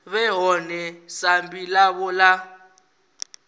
vhe ḽone sambi ḽavho ḽa